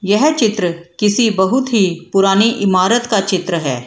यह चित्र किसी बहुत ही पुरानी इमारत का चित्र है।